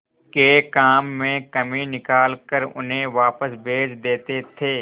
के काम में कमी निकाल कर उन्हें वापस भेज देते थे